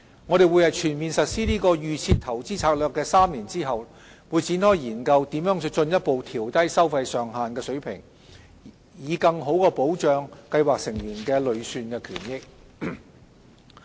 我們會在全面實施"預設投資策略"的3年後，展開研究如何進一步調低收費上限的水平，以更好保障計劃成員的累算權益。